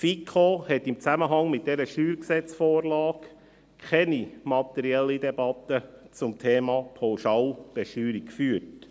Die FiKo hat in Zusammenhang mit dieser Steuergesetz(StG)-Vorlage keine materielle Debatte zum Thema Pauschalbesteuerung geführt.